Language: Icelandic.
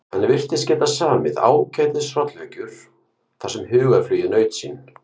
Hann virtist geta samið ágætis hrollvekjur þar sem hugarflugið naut sín.